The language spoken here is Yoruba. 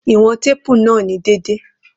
Iwọn teepu naa ni deede